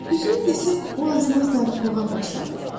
Düzünü desək, o az-maz darıxmağa başladı.